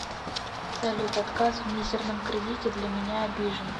салют отказ в мизирном кредите для меня обижен